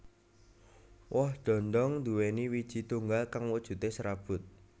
Woh dhondhong nduwèni wiiji tunggal kang wujudé serabut